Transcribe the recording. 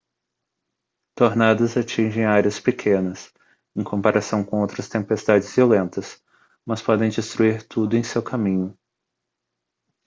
tornados atingem áreas pequenas em comparação com outras tempestades violentas mas podem destruir tudo em seu caminho